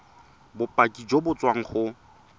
bopaki jo bo tswang go